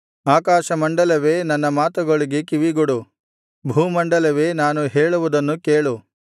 ಆಕಾಶಮಂಡಲವೇ ನನ್ನ ಮಾತುಗಳಿಗೆ ಕಿವಿಗೊಡು ಭೂಮಂಡಲವೇ ನಾನು ಹೇಳುವುದನ್ನು ಕೇಳು